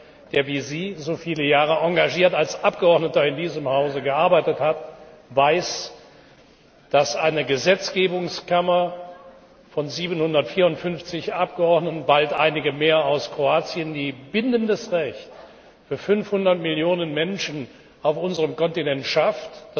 Jemand, der wie Sie so viele Jahre engagiert als Abgeordneter in diesem Hause gearbeitet hat, weiß, dass eine Gesetzgebungskammer von 754 Abgeordneten und bald einigen mehr aus Kroatien, die bindendes Recht für 500 Millionen Menschen auf unserem Kontinent schafft,